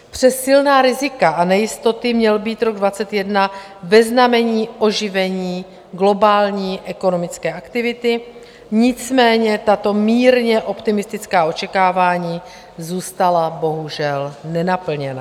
Přes silná rizika a nejistoty měl být rok 2021 ve znamení oživení globální ekonomické aktivity, nicméně tato mírně optimistická očekávání zůstala bohužel nenaplněna.